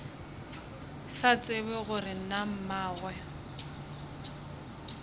sa tsebe gore na mmagwe